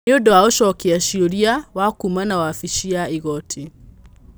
Nĩ ũndũ wa ũcokia ciũria wakũmana wabici ya igoti